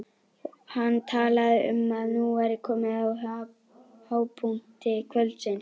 Hann talaði um að nú væri komið að hápunkti kvöldsins.